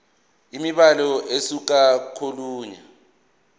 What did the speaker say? imibhalo ukusuka kolunye